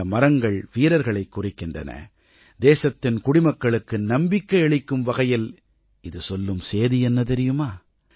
இந்த மரங்கள் வீரர்களைக் குறிக்கின்றன தேசத்தின் குடிமக்களுக்கு நம்பிக்கை அளிக்கும் வகையில் இது சொல்லும் சேதி என்ன தெரியுமா